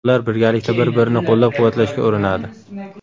Ular birgalikda bir-birini qo‘llab-quvvatlashga urinadi.